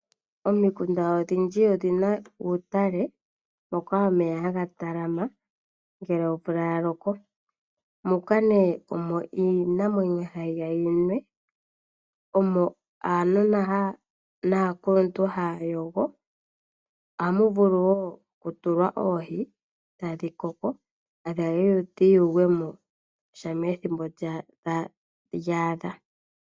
Omikunda odhindji odhina utale moka omeya haga talama ngele omvula ya loko. Moka nee omo iinamwenyo hayi ya yinwe, omo aanona naakuluntu haya yogo. Ohamu vulu wo oku tulwa oohi tadhi koko etadhi ya dhi yuulwe mo shampa ethimbo lyaadha.